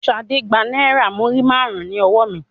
Ṣadé gba náírà múrímàrún ní ọwọ mi.